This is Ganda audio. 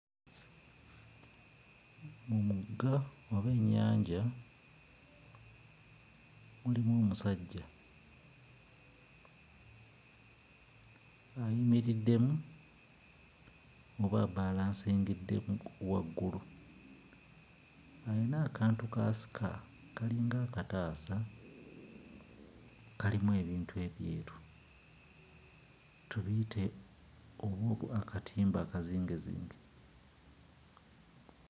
Omugga oba ennyanja mulimu omusajja ayimiriddemu oba abalansingiddemu waggulu. Ayina akantu k'asika kalinga akataasa kalimu ebintu ebyeru, tubiyite oba akatimba akazingezinge.